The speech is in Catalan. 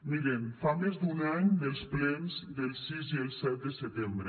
miren fa més d’un any dels plens del sis i el set de setembre